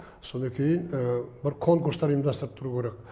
содан кейін бір конкурстар ұйымдастырып тұру керек